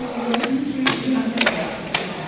Bu yəqin ki, qiyamət rəqsidir.